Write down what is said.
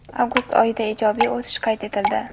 avgust oyida ijobiy o‘sish qayd etildi.